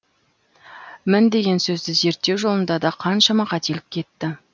мін деген сөзді зерттеу жолында да қаншама қателік кетті